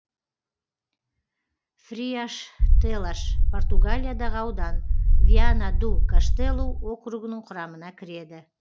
фриаштелаш португалиядағы аудан виана ду каштелу округінің құрамына кіреді